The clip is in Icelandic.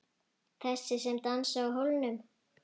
Þessi sem dansaði á hólnum.